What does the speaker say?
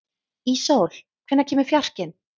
Íssól, hvenær kemur fjarkinn?